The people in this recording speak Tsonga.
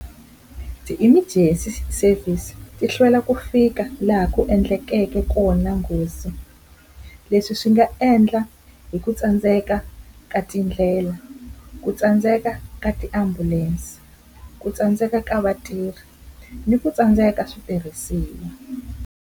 Ti-emergency service ti hlwela ku fika laha ku endlekeke kona nghozi, leswi swi nga endla hi ku tsandzeka ka tindlela, ku tsandzeka ka tiambulense, ku tsandzeka ka vatirhi ni ku tsandzeka ka switirhisiwa.